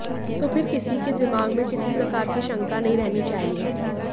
तो फिर किसी के दिमाग में किसी प्रकार की शंका नहीं रहनी चाहिए